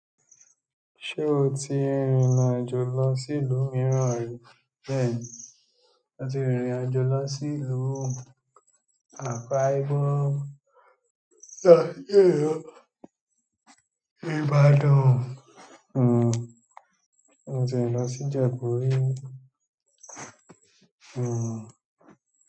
Ṣé o ti rìnrìn àjò lọ sí ìlú mìíràn rí? Bẹ́ẹ̀ ni, mo ti rìnrìn àjò lọ sí ìlú Accra ri fún (Yawning), Ìbàdàn mo ti rin lọ si ijẹbu ri.